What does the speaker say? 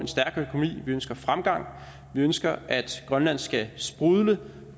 vi ønsker fremgang vi ønsker at grønland skal sprudle